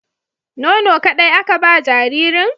Nono ƙaɗai aka ba jaririn?